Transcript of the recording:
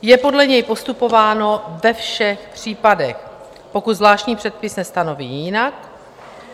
Je podle něj postupováno ve všech případech, pokud zvláštní předpis nestanoví jinak.